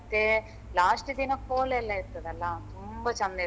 ಮತ್ತೆ last ದಿನ ಕೋಲಯೆಲ್ಲ ಇರ್ತದಲ್ಲ ತುಂಬ ಚೆಂದ ಇರ್ತದೆ.